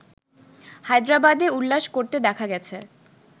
হায়দ্রাবাদে উল্লাস করতে দেখা গেছে